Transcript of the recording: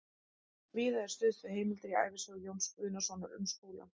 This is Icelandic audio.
Víða er stuðst við heimildir í ævisögu Jóns Guðnasonar um Skúla